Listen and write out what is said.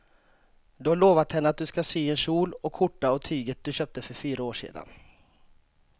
Du har lovat henne att du ska sy en kjol och skjorta av tyget du köpte för fyra år sedan.